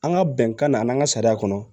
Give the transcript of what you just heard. An ka bɛnkan na an n'an ka sariya kɔnɔ